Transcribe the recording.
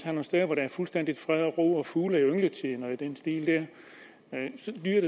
nogle steder hvor der er fuldstændig fred og ro for fugle i yngletiden og i den stil